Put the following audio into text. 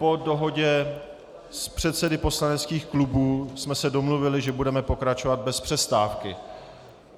Po dohodě s předsedy poslaneckých klubů jsme se domluvili, že budeme pokračovat bez přestávky.